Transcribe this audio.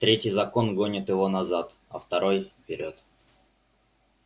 третий закон гонит его назад а второй вперёд